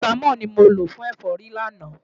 Parasítámọ̀ ni mo lò fún ẹ̀fọ́rí lánàá.